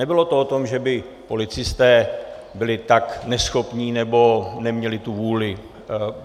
Nebylo to o tom, že by policisté byli tak neschopní nebo neměli tu vůli.